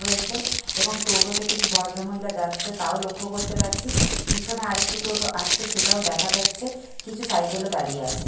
রয়েছে এবং টোটোতে কিছু ভদ্রমহিলা যাচ্ছে তাও লক্ষ্য করতে পারছি। পিছনে আর একটি টোটো আসছে সেটাও দেখা যাচ্ছে। কিছু সাইকেল -ও দাঁড়িয়ে আছে।